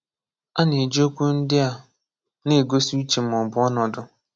A na-eji okwu ndị a na-egosi uche ma ọ bụ ọnọdụ.